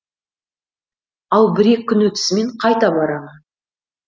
ал бір екі күн өтісімен қайта барамын